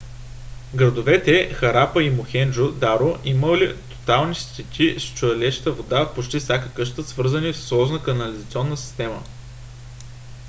градовете харапа и мохенджо - даро имали тоалетни с течаща вода в почти всяка къща свързани в сложна канализационна система